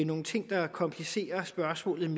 nogle ting der komplicerer spørgsmålet